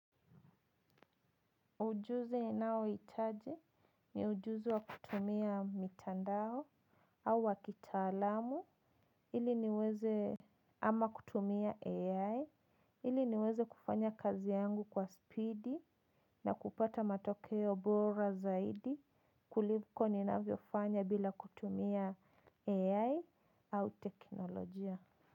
Ujuzi ninao hitaji, ni ujuzi wa kutumia mitandao au wakitalamu ili niweze, ama kutumia AI, ili niweze kufanya kazi yangu kwa spidi, na kupata matokeo bora zaidi, kuliko ninavyofanya bila kutumia AI au teknolojia.